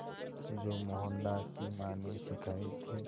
जो मोहनदास की मां ने सिखाए थे